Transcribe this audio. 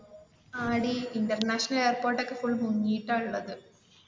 ആടി international airport എക്ക full മുങ്ങിട്ട ഉള്ളത്.